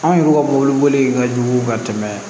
Anw yɛrɛ ka mɔbiliboli ka jugu ka tɛmɛ